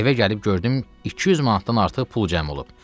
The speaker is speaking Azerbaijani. Evə gəlib gördüm 200 manatdan artıq pul cəm olub.